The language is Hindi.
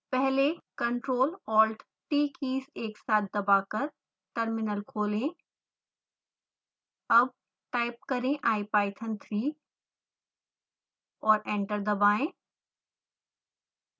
पहले ctrl+alt+t कीज एक साथ दबाकर टर्मिनल खोलें